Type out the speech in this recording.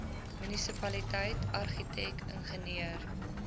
munisipaliteit argitek ingenieur